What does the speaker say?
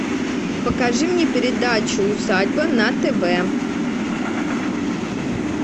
покажи мне передачу усадьба на тв